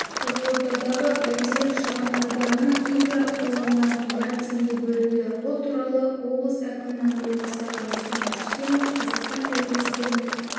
қызылордадағы бәйтерек шағын ауданының инфрақұрылымына млрд теңге бөлінді бұл туралы облысәкімінің орынбасары руслан рүстемов қазақстан тәуелсіздігінің